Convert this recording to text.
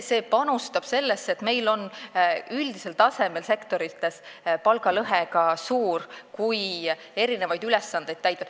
See panustab sellesse, et meil on üldisel tasemel sektorites palgalõhe suur, mitte ainult erinevate ülesannete korral.